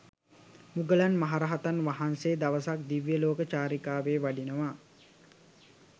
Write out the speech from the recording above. මුගලන් මහරහතන් වහන්සේ දවසක් දිව්‍යලෝක චාරිකාවේ වඩිනවා.